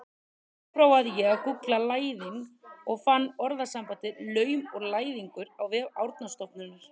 Þá prófaði ég að gúggla læðing og fann orðasambandið laum og læðingur á vef Árnastofnunar.